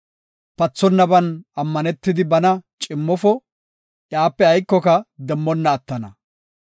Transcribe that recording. Pathonnaban ammanetidi bana cimmofo; iyape aykoka demmonna attana.